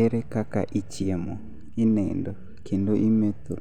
Ere kaka ichiemo, inindo, kendo imetho